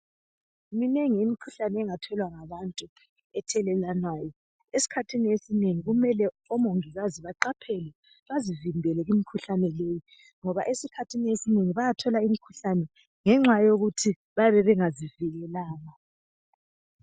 Minengi imikhuhlane engatholwa ngabantu ethelelwanayo esikhathini esinengi kumele omongikazi baqaphele bazivimbele kumkhuhlane le ngoba esikhathini esinengi bayathola imkhuhlane ngoba bayabe bengazivikelanga.